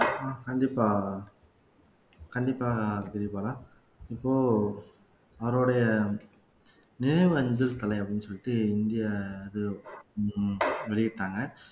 கண்டிப்பா கண்டிப்பா கிரிபாலா இப்போ அவருடைய நினைவு அஞ்சல் தலை அப்படீன்னு சொல்லிட்டு இந்திய இது வெளியிட்டாங்க